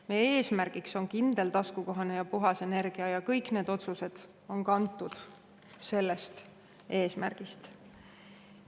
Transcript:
Meie eesmärgiks on kindel, taskukohane ja puhas energia ja kõik need otsused on kantud sellest eesmärgist.